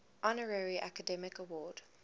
honorary academy award